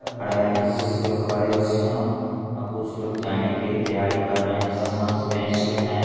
खड़े हैं कुछ लोग खड़े हुए हैं और कुछ लोग जाने के लिए तैयारी कर रहे हैं। सब मास्क पहने हुए हैं।